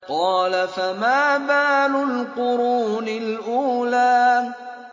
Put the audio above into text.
قَالَ فَمَا بَالُ الْقُرُونِ الْأُولَىٰ